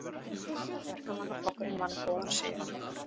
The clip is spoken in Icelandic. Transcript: Verkamannaflokkurinn vann góðan sigur